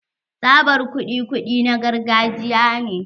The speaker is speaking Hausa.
Tsabar kuɗi kuɗi na gargajiya ne.